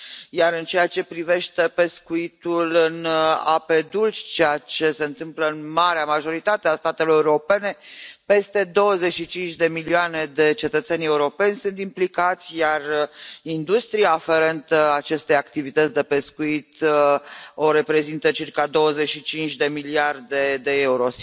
Iar în ceea ce privește pescuitul în ape dulci, care se întâmplă în marea majoritate a statelor europene, peste 25 de milioane de cetățeni europeni sunt implicați, iar industria aferentă acestei activități de pescuit o reprezintă circa 25 de miliarde de euro.